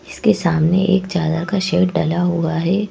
इसके सामने एक ज्यादा का शेड डला हुआ है।